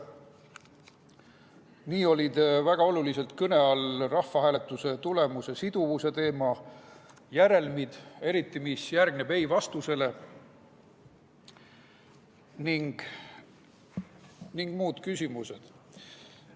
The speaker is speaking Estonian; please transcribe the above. Nii olid väga oluliselt kõne all rahvahääletuse tulemuse siduvuse teema, järelmid, eriti see, mis järgneb ei-vastusele, ning muud küsimused.